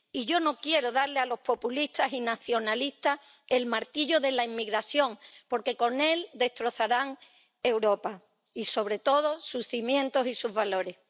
Y yo no quiero darle a los populistas y nacionalistas el martillo de la inmigración, porque con el destrozarán Europa y, sobre todo, sus cimientos y sus valores.